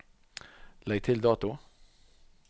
Legg til dato